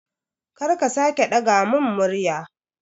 Kar ka sake ɗaga mun murya